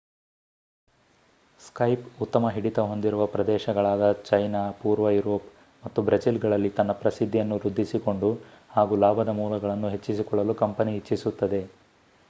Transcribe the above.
Skype ಉತ್ತಮ ಹಿಡಿತ ಹೊಂದಿರುವ ಪ್ರದೇಶಗಳಾದ ಚೈನಾ ಪೂರ್ವ ಯೂರೋಪ್ ಮತ್ತು ಬ್ರೆಜಿಲ್ ಗಳಲ್ಲಿ ತನ್ನ ಪ್ರಸಿದ್ದಿಯನ್ನು ವೃದ್ದಿಸಿಕೊಂಡು ಹಾಗೂ ಲಾಭದ ಮೂಲಗಳನ್ನು ಹೆಚ್ಚಿಸಿಕೊಳ್ಳಲು ಕಂಪನಿ ಇಚ್ಚಿಸುತ್ತದೆ